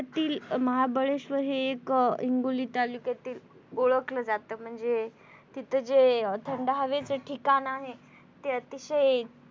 महाबळेशवर हे एक हिंगोली तालुक्यातील ओळखलं जात म्हणजे तिथं जे थंड हेवेच ठिकाण आहे ते अतिशय